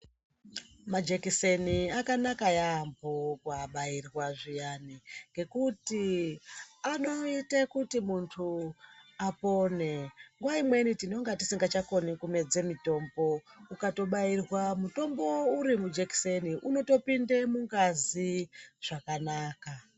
Majekiseni akanaka yambo kuabairwa zviyani ngekuti anoite kuti muntu apore, nguwa imweni tinenge tisikachakoni kumedze mutombo ukatobairwa mutombo uri mujekiseni unotopinde mungazi zvakanaka.